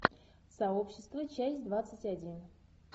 сообщество часть двадцать один